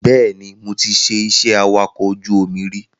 Bẹ́ẹ̀ni, mo ti ṣe iṣẹ́ awakọ̀ ojú omi rí